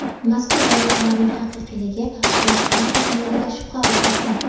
mazkur valyutalarning haqiqiyligi bojxona xodimlarida shubha uyg‘otgan.